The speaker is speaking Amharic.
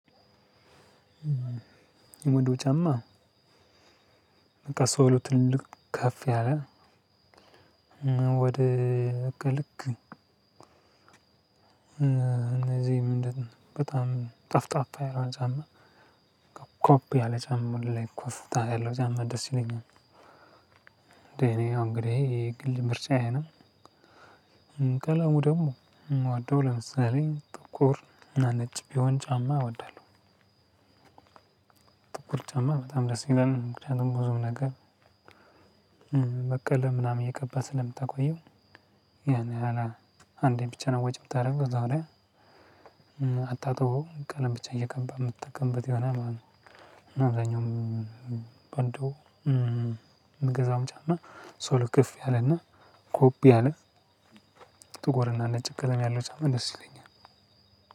ውዱ ጫማ በቃ ሶሉ ትልልቅ ከፍ ያለ በጣም ጠፍጣፋ የሆነ ጫማ ከፍ ያለ ጫማ ላይ ኮፍታ ያለው ጫማ ደስ ይለኛል። እኔ አሁን እንግዲህ ይሄ ግል ምርጫዬ ነው። ቀለሙ ደግሞ ምወደው ለምሳሌ ጥቁር እና ነጭ ቢሆን ጫማ እወዳለሁ። ጥቁር ጫማ በጣም ደስ ይላል። ምክንያቱም ብዙም ነገር በቀለም ምናምን እየቀባው ስለምጠቀመው ያን ያህል አንዴ ብቻ ነው ወጪ የምታደርገው እዛው ላይ አታጥበውም ቀለም ብቻ እየቀባ የምትጠቀምበት ይሆል ማለት ነው። እና አብዛኛውን ሶሉ ከፍ ያለና ጎቭ ያለ ሶሉ ጥቁርና ነጭ ቅደም ያለው ጫማ ደስ ይለኛል።